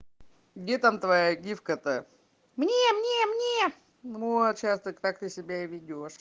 где там твоя гифка то мне мне мне вот сейчас так ты себя и ведёшь